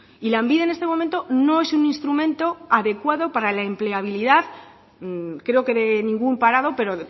y lanbide en este momento no es un instrumento adecuado para la empleabilidad creo que de ningún parado pero